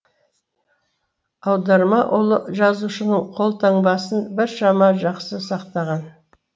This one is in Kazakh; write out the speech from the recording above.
аударма ұлы жазушының қолтаңбасын біршама жақсы сақтаған